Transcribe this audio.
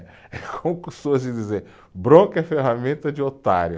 É como costumam de dizer, bronca é ferramenta de otário.